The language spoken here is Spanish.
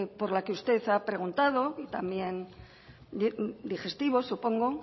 por la que usted ha preguntado y también digestivo supongo